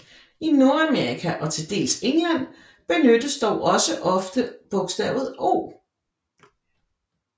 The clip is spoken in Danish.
I Nordamerika og til dels England benyttes dog også ofte bogstavet O